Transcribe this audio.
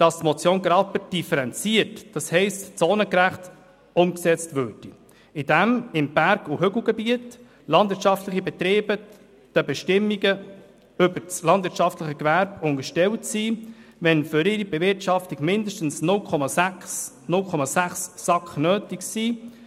Die Motion Graber soll differenziert, das heisst zonengerecht umgesetzt werden, indem im Berg- und Hügelgebiet landwirtschaftliche Betriebe den Bestimmungen über das landwirtschaftliche Gewerbe unterstellt sind, wenn für ihre Bewirtschaftung mindestens 0,6 SAK nötig sind.